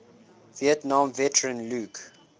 vietnam veteran luke